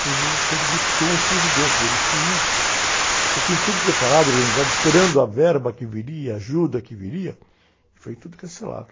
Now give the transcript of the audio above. Foi no desespero dos, com os presidentes, que eles queriam... Já tinham tudo preparado, organizado, esperando a verba que viria, a ajuda que viria, e foi tudo cancelado.